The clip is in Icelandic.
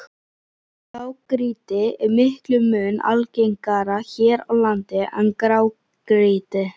Blágrýti er miklum mun algengara hér á landi en grágrýti.